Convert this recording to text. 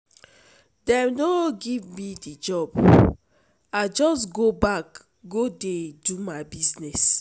Dem no give me di job, I just go back go dey do my business.